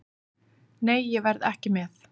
Nei, ég verð ekki með.